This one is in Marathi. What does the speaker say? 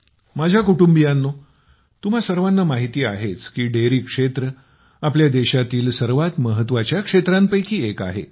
माझ्या कुटुंबियानो तुम्हा सर्वांना माहिती आहेच की डेअरी क्षेत्र आपल्या देशातील सर्वात महत्त्वाच्या क्षेत्रांपैकी एक आहे